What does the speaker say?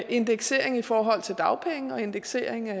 indeksering i forhold til dagpenge og indeksering af